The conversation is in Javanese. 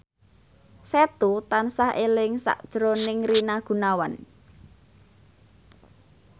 Setu tansah eling sakjroning Rina Gunawan